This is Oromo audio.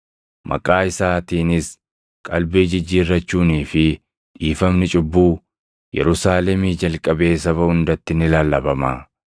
maqaa isaatiinis qalbii jijjiirrachuunii fi dhiifamni cubbuu Yerusaalemii jalqabee saba hundatti ni lallabama.’